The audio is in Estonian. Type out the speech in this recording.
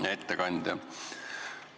Hea ettekandja!